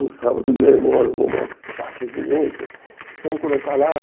Um sábado, meu irmão arrumou umas faixas imensas que precisavam colocar lá.